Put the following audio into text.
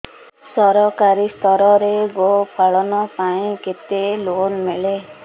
ସରକାରୀ ସ୍ତରରେ ଗୋ ପାଳନ ପାଇଁ କେତେ ଲୋନ୍ ମିଳେ